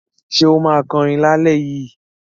Ṣé ó máa kọrin lálẹ́ yìí?